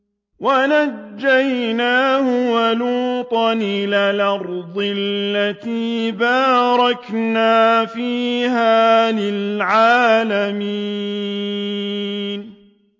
وَنَجَّيْنَاهُ وَلُوطًا إِلَى الْأَرْضِ الَّتِي بَارَكْنَا فِيهَا لِلْعَالَمِينَ